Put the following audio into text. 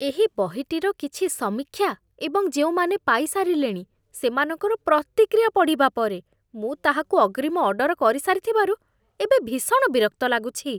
ଏହି ବହିଟିର କିଛି ସମୀକ୍ଷା ଏବଂ ଯେଉଁମାନେ ପାଇସାରିଲେଣି ସେମାନଙ୍କର ପ୍ରତିକ୍ରିୟା ପଢ଼ିବା ପରେ, ମୁଁ ତାହାକୁ ଅଗ୍ରିମ ଅର୍ଡର କରିସାରିଥିବାରୁ ଏବେ ଭୀଷଣ ବିରକ୍ତ ଲାଗୁଛି।